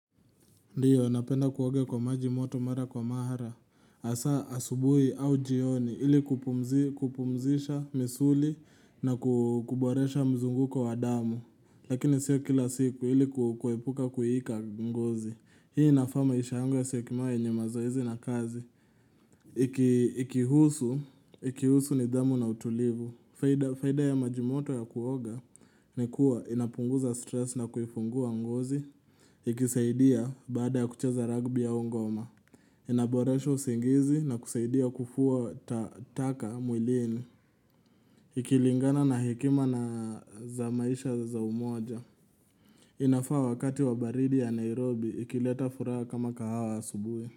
Ndiyo, napenda kuoga kwa maji moto mara kwa mara. Asa asubuhi au njioni ili kupumuzi kupumuzisha misuli na ku kuboresha mzunguko wa damu. Lakini sio kila siku ili ku kuepuka kuhika ngozi. Hii inafaa maisha yangu yasiwe kima yenye mazoezi na kazi. Iki Ikihusu, ikihusu nidhamu na utulivu. Huenda faida ya maji moto ya kuoga ni kuwa inapunguza stress na kuifungua ngozi. Ikisaidia baada ya kucheza ragbiaongoma Inaboresho usigizi na kusaidia kufua ta taka mwilini Ikilingana na hekima naa za maisha za umoja inafaa wakati wa baridi ya Nairobi ikileta furaha kama kahawa asubuhi.